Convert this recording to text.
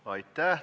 Aitäh!